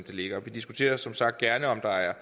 ligger vi diskuterer som sagt gerne om der er